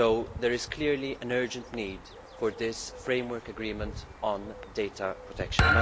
There is clearly an urgent need for this framework agreement on data protection.